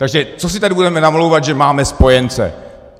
Takže co si tady budeme namlouvat, že máme spojence.